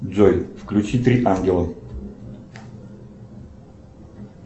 джой включи три ангела